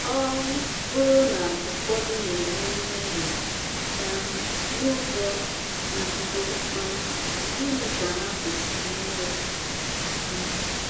Ọ bụrụ na ụfọdụ na-eme mmehie um n’uzo nzuzo, um gịnị ka ha kwesịrị ime? um